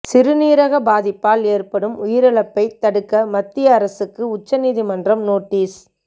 சிறுநீரக பாதிப்பால் ஏற்படும் உயிரிழப்பை தடுக்க மத்திய அரசுக்கு உச்ச நீதிமன்றம் நோட்டீஸ்